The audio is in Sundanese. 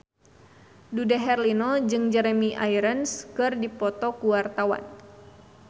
Dude Herlino jeung Jeremy Irons keur dipoto ku wartawan